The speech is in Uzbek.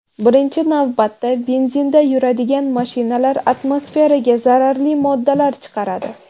Birinchi navbatda, benzinda yuradigan mashinalar atmosferaga zararli moddalar chiqaradi.